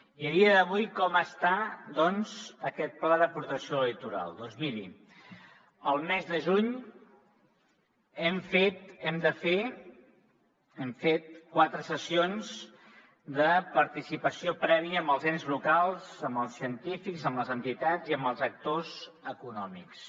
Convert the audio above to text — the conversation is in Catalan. i a dia d’avui com està aquest pla de protecció del litoral doncs mirin el mes de juny hem fet quatre sessions de participació prèvia amb els ens locals amb els científics amb les entitats i amb els actors econòmics